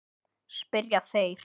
spyrja þeir.